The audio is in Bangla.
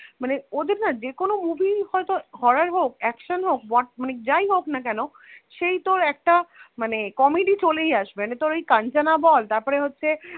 মানে ওদের না যে কোনো movie হয়ত horror হোক action হোক ~ মানে যাই হোক না কেন সেই তোর একটা মানে comedy চলেই আসবে মানে তোর ওই কাঞ্চনা বল তারপরে হচ্ছে